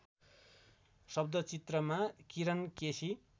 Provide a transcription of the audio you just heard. शब्दचित्रमा Kiran KC